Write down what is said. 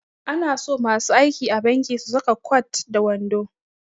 Ana so masu aiki a banki su saka kwat da wando